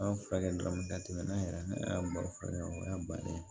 An furakɛ dɔrɔn ka tɛmɛ yɛrɛ y'an baro la o y'a bannen ye